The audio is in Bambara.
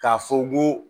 K'a fɔ ko